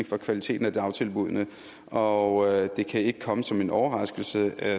for kvaliteten af dagtilbuddene og det kan ikke komme som en overraskelse